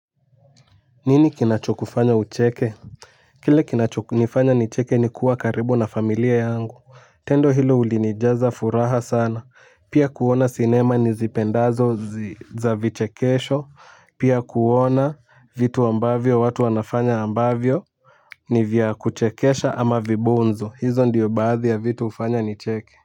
Nini kinacho kufanya ucheke? Kile kinacho nifanya nicheke ni kuwa karibu na familia yangu. Tendo hilo ulinijaza furaha sana. Pia kuona sinema ni zipendazo za vichekesho. Pia kuona vitu ambavyo watu wanafanya ambavyo ni vya kuchekesha ama vibonzo. Hizo ndiyo baadhi ya vitu hufanya nicheke.